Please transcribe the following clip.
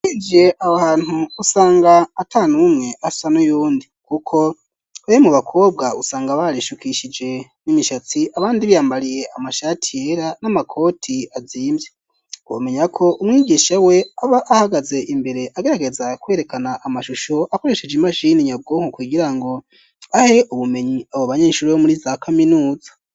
Ijiye abo hantu usanga ata n'umwe asa n'uyundi, kuko ewe mu bakobwa usanga barishukishije n'imishatsi abandi biyambariye amashati yera n'amakoti azimvye gomenya ko umwigisha we aba ahagaze imbere agarageza kwerekana amashusho akoresheje imashini nyabwonko kugira ngo ahe ubumenyi abo banyeshuri bo muri za kaminuza.